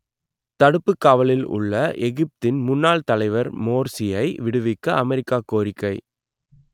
தடுப்புக் காவலில் உள்ள எகிப்தின் முன்னாள் தலைவர் மோர்சியை விடுவிக்க அமெரிக்கா கோரிக்கை